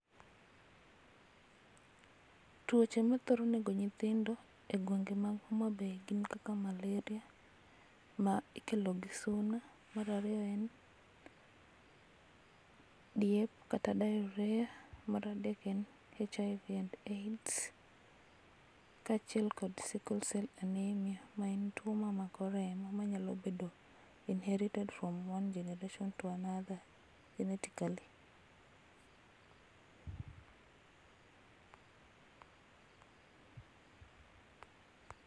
Tuoche mathoro nego nyithindo e gwenge mag Homabay gin kaka malaria ma ikelo gi suna, mar ariyo en diep kata diarrhea, mar adek en HIV and Aids kachiel kod sicklecell anaemia ma en tuo mamako remo manyalo bedo inherited from one generation to another genetically